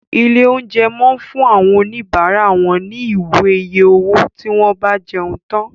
Ilé oúnjẹ món fun àwọn òní bara wón ní Ìwé iye owó tí wón bá jẹun tán